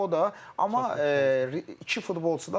O da, amma iki futbolçu da var.